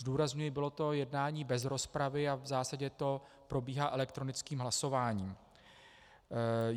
Zdůrazňuji, bylo to jednání bez rozpravy a v zásadě to probíhá elektronickým hlasováním.